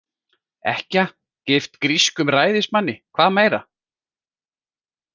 Ekkja, gift grískum ræðismanni, hvað meira?